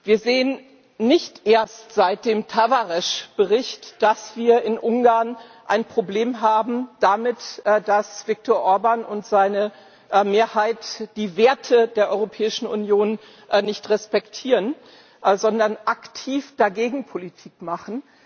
Wir sehen nicht erst seit dem Bericht Tavares, dass wir in Ungarn ein Problem damit haben, dass Viktor Orbán und seine Mehrheit die Werte der Europäischen Union nicht respektieren, sondern aktiv dagegen Politik machen.